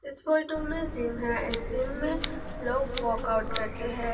इस फोटो में जिम है इस दिन में लोग वर्कआउट करते हैं।